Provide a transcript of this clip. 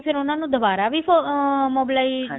ਫੇਰ ਉਹਨਾ ਨੂੰ ਦੁਬਾਰਾ ਵੀ ਅਮ mobilization